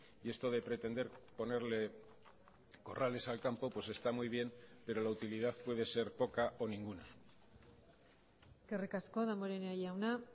y esto de pretender ponerle corrales al campo pues está muy bien pero la utilidad puede ser poca o ninguna eskerrik asko damborenea jauna